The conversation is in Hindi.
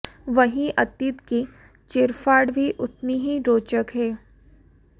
वहीं अतीत की चीरफाड़ भी उतनी ही रोचक है